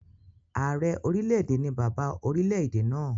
Ààrẹ orílẹ̀-èdè ni bàbá orilẹ̀-èdè náà